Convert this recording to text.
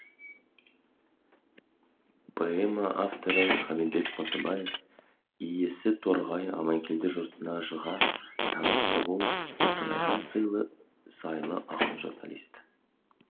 поэма авторы хамитбек мұсабаев иісі торғай аманкелді жұртына жыға таныс тобыл қостанайға сыйлы ақын журналист